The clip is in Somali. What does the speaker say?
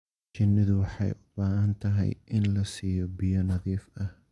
Shinnidu waxay u baahan tahay in la siiyo biyo nadiif ah.